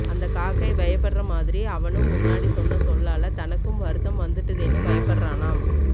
அந்த காக்கை பயப்படற மாதிரி அவனும் முன்ன்னாடி சொன்ன சொல்லால தனக்கு வருத்தம் வந்துட்டுதேன்னு பயப்படறானாம்